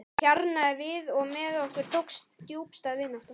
Hún hjarnaði við og með okkur tókst djúpstæð vinátta.